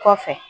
Kɔfɛ